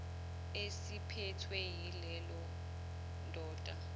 esiphethwe yileya ndoda